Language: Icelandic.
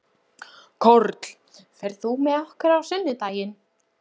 Karl, ferð þú með okkur á sunnudaginn?